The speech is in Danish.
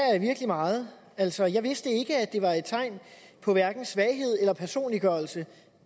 jeg virkelig meget altså jeg vidste ikke at det var et tegn på hverken svaghed eller personliggørelse